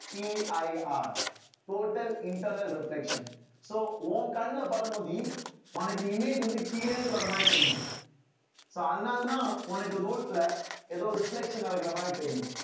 CIRtotal internal reflection so உன் கண்ணுல படும் உனக்கு image வந்து கீழே இருந்து வர்ற மாதிரி தெரியும் so அதனாலதான் உனக்கு road ல ஏதோ reflection நடக்கிற மாதிரி தெரியும்